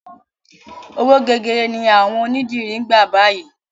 Owó gegere ni àwọn onídìrí ń gbà báyìí.